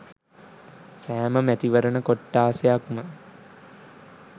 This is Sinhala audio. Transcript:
සෑම මැතිවරණ කොට්ඨාසයක්ම